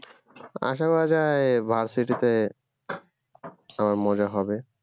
আশা করা যাই varsity তে আবার মজা হবে